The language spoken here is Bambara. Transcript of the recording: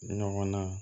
Ɲɔgɔn na